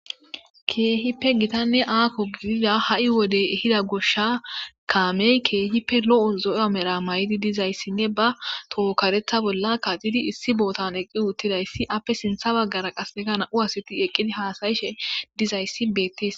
keehippe gitanne aakko gidida ha7i wode hida gosha kaameykehippe lo7o zoya mera may7idi dizayssinne ba tohokaretha bolla kaxidi issi bootan eqqi uuttidayssi appe sintha baggara qasekana uwasiti eqqidi haasayishe dizayssi beettes